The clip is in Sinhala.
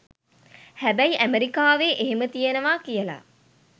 හැබැයි ඇමරිකාවෙ එහෙම තියනවා කියල